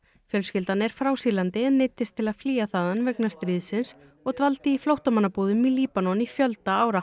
fjölskyldan er frá Sýrlandi en neyddist til að flýja þaðan vegna stríðsins og dvaldi í flóttamannabúðum í Líbanon í fjölda ára